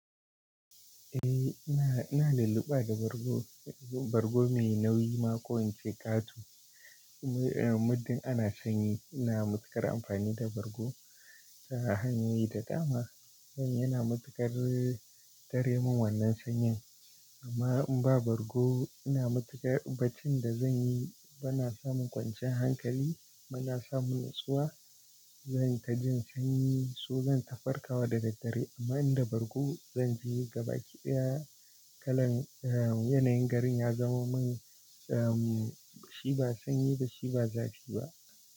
Eh, ina, ina lulluɓa da bargo, bargo mai nauyi ma ko in ce ƙato. Muddin ana sanyi ina matuƙar amfani da bargo ta hanyoyi da dama. Yana matuƙar tare min wannan sanyin. Amma in ba bargo ina matuƙar baccin da zan yi ba na samun kwanciyan hankali, ba na samun natsuwa. Zan ta jin sanyi so zan tafarkawa da daddare. Amma in da bargo zan ji gaba kiɗaya kalan yanayin garin ya zama mun, shi ba sanyi ba shi ba zafi ba.